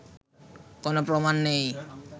কোনো প্রমাণ নেই